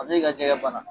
A bɛ ka jɛgɛ bana